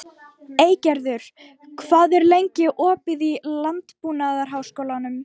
Eygerður, hvað er lengi opið í Landbúnaðarháskólanum?